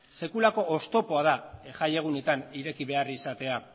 sekulako oztopoa da jaiegunetan ireki behar izatea